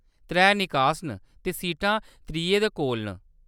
त्रै निकास न, ते सीटां त्रिये दे कोल न।